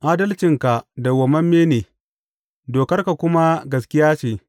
Adalcinka dawwammame ne dokar kuma gaskiya ce.